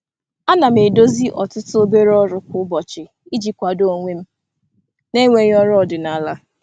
Ana m edozi ọtụtụ obere ọrụ kwa ụbọchị iji kwado onwe m na-enweghị ọrụ ọdịnala.